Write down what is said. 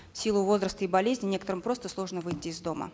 в силу возраста и болезни некоторым просто сложно выйти из дома